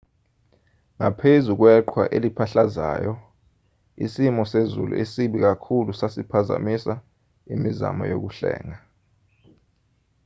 ngaphezu kweqhwa eliphahlazayo isimo sezulu esibi kakhulu sasiphazamisa imizamo yokuhlenga